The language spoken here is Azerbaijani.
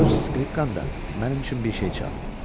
Öz skripkan da mənim üçün bir şey çal.